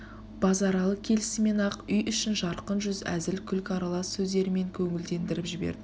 базаралы келісімен-ақ үй ішін жарқын жүз әзіл күлкі аралас сөздерімен көңілдендіріп жіберді